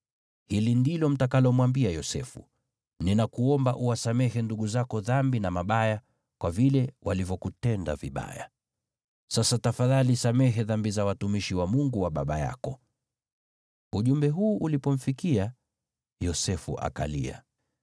‘Hili ndilo mtakalomwambia Yosefu: Ninakuomba uwasamehe ndugu zako dhambi na mabaya kwa vile walivyokutenda vibaya.’ Sasa tafadhali samehe dhambi za watumishi wa Mungu wa baba yako.” Ujumbe huu ulipomfikia, Yosefu akalia.